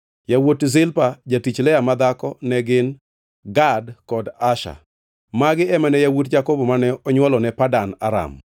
Yawuot Zilpa jatich Lea madhako ne gin: Gad kod Asher. Magi ema ne yawuot Jakobo mane onywolone Padan Aram. + 35:26 Tiende ni, Iraq